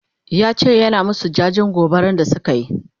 yace yana masu jajen gobaran da sukayi